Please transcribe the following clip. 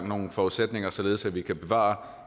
nogle forudsætninger således at vi kan bevare